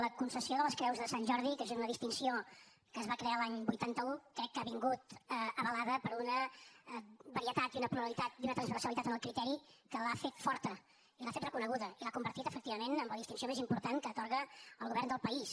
la concessió de les creus de sant jordi que és una distinció que es va crear l’any vuitanta un crec que ha vingut avalada per una varietat i una pluralitat i una transversalitat en el criteri que l’ha fet forta i l’ha fet reconeguda i l’ha convertit efectivament en la distinció més important que atorga el govern del país